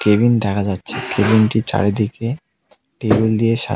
cabin দেখা যাচ্ছে কেবিনটির চারিদিকে টেবিল দিয়ে সা--